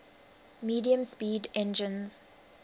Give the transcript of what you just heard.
medium speed engines